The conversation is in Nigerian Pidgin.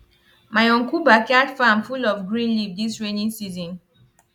my uncle backyard farm full for green leaf dis rainy season